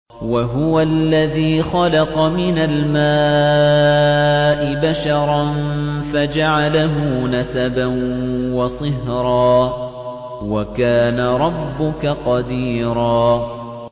وَهُوَ الَّذِي خَلَقَ مِنَ الْمَاءِ بَشَرًا فَجَعَلَهُ نَسَبًا وَصِهْرًا ۗ وَكَانَ رَبُّكَ قَدِيرًا